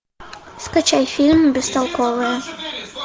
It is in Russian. скачай фильм бестолковые